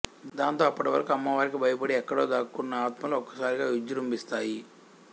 దాంతో అప్పటివరకు అమ్మవారికి భయపడి ఎక్కడో దాక్కున్న ఆత్మలు ఒక్కసారిగా విజృంభిస్తాయి